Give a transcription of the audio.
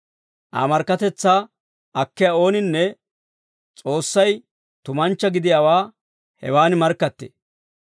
Aa markkatetsaa akkiyaa ooninne S'oossay tumanchcha gidiyaawaa hewan markkattee.